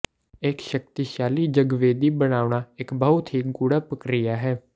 ਇਕ ਸ਼ਕਤੀਸ਼ਾਲੀ ਜਗਵੇਦੀ ਬਣਾਉਣਾ ਇਕ ਬਹੁਤ ਹੀ ਗੂੜ੍ਹਾ ਪ੍ਰਕਿਰਿਆ ਹੈ